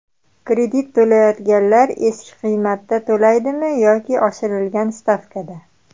Kredit to‘layotganlar eski qiymatda to‘laydimi yoki oshirilgan stavkada?.